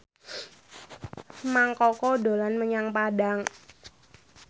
Mang Koko dolan menyang Padang